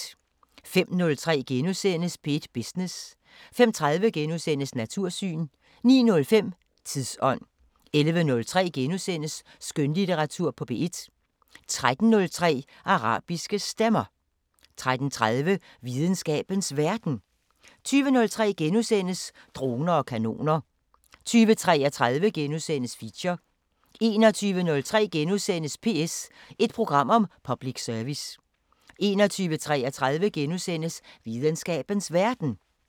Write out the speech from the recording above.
05:03: P1 Business * 05:30: Natursyn * 09:05: Tidsånd 11:03: Skønlitteratur på P1 13:03: Arabiske Stemmer 13:30: Videnskabens Verden 20:03: Droner og kanoner * 20:33: Feature * 21:03: PS – et program om public service * 21:33: Videnskabens Verden *